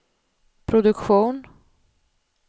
produktion